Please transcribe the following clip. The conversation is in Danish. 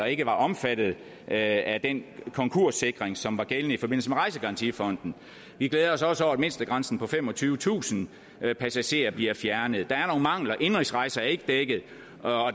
ikke var omfattet af den konkurssikring som var gældende i forbindelse med rejsegarantifonden vi glæder os også over at mindstegrænsen på femogtyvetusind passagerer bliver fjernet der er nogle mangler indenrigsrejser er ikke dækket og